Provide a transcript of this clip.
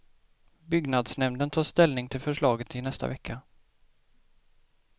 Byggnadsnämnden tar ställning till förslaget i nästa vecka.